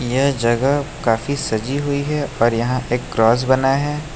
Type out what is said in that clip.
यह जगह काफी सजी हुई है और यहां एक क्रॉस बना है।